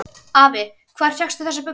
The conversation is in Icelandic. Afi, hvar fékkstu þessar buxur?